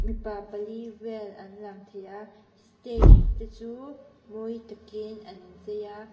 mipa pali vel an lang thei a stage te chu mawi takin an chei a.